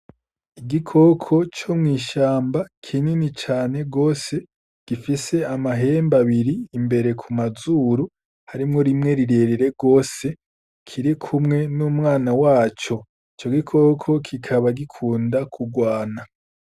Igikoko co mw'ishamba kinyini cane rwose gifise amahembu abiri imbere ku mazuru harimwo rimwe rirerere rwose kiri kumwe n'umwana waco co gikoko kikaba gikunda kurwana.